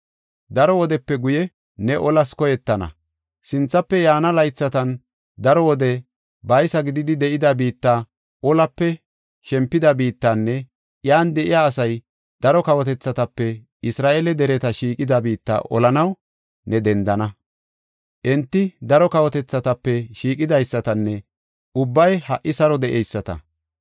Daro wodepe guye, ne olas koyettana; sinthafe yaana laythatan daro wode baysa gididi de7ida biitta, olape shempida biittanne, iyan de7iya asay daro kawotethatape Isra7eele dereta shiiqida biitta olanaw ne dendana. Enti daro kawotethatape shiiqidaysatanne ubbay ha77i saro de7eyisata.